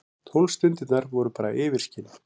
Tólf stundirnar voru bara yfirskin.